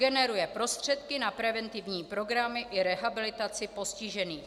Generuje prostředky na preventivní programy i rehabilitaci postižených.